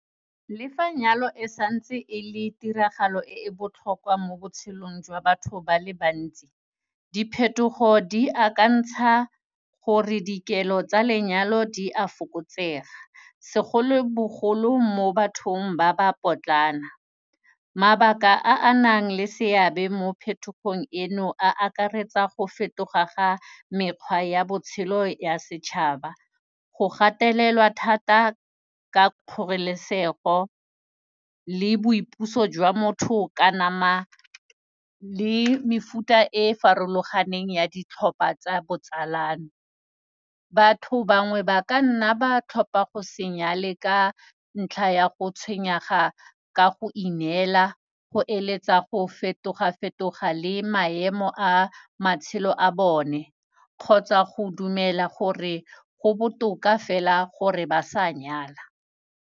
Le fa nyalo e sa ntse e le tiragalo e e botlhokwa mo botshelong jwa batho ba le bantsi, diphetogo di akantsha gore dikelo tsa lenyalo di a fokotsega segolo bogolo mo bathong ba ba potlana. Mabaka a a nang le seabe mo phetogong eno a akaretsa go fetoga ga mekgwa ya botshelo ya setšhaba, go gatelelwa thata ka kgorelesego le boipuso jwa motho ka nama le mefuta e e farologaneng ya ditlhopha tsa botsalano. Batho bangwe ba ka nna ba tlhopha go se nyale ka ntlha ya go tshenyega ka go ineela go eletsa go fetoga-fetoga le maemo a matshelo a bone kgotsa go dumela gore go botoka fela gore ba sa nyala.